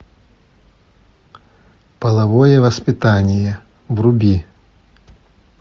половое воспитание вруби